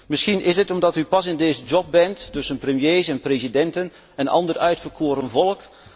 Misschien is het omdat u pas in deze job bent, tussen premiers en presidenten en ander uitverkoren volk.